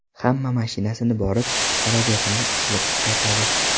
Hamma mashinasida borib, xarajatini qilib qaytadi.